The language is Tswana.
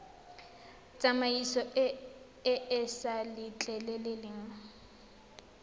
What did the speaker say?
tsamaiso e e sa letleleleng